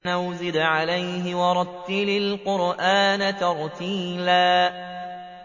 أَوْ زِدْ عَلَيْهِ وَرَتِّلِ الْقُرْآنَ تَرْتِيلًا